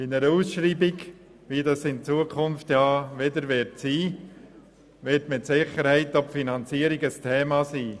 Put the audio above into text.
Bei einer Ausschreibung, wie es sie in Zukunft wieder geben wird, wird mit Sicherheit die Finanzierung ein Thema sein.